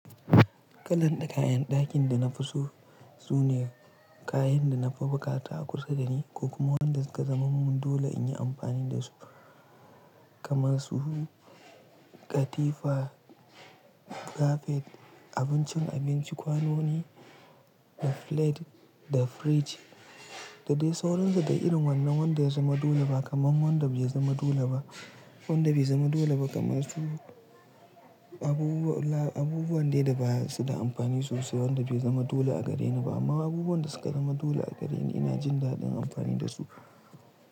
Kalanda kayan dakin da na fi so sune kayan da nafi bukata a kusa dani ko kuma wanda suka zaman mun dole in yi amfani da su kamar su katifa, kafet, abincin abinci, kwanoni, da flate da fridge. Da dai sauransu da irin wannan wanda ya zama dole ba kaman wanda bai zama dole ba. Wanda bai zama dole ba kamar su abubuwa, abubuwan dai da basu da amfani sosai. Wanda bai zama dole a gareni ba amma abubuwan da suka zama dole a gareni ina jin daɗin amfani da su.